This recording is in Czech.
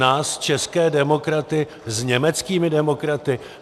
Nás české demokraty s německými demokraty?